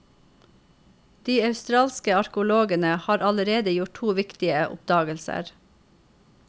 De australske arkeologene har allerede gjort to viktige oppdagelser.